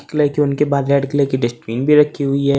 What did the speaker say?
उनके बाद red colour की डस्टबिन भी रखी हुई है।